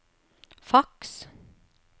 faks